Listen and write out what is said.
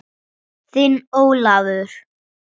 Þinn Ólafur.